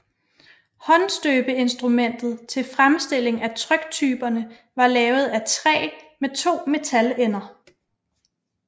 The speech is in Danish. Håndstøbeinstrumentet til fremstilling af tryktyperne var lavet af træ med to metalender